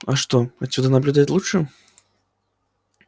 а что отсюда наблюдать лучше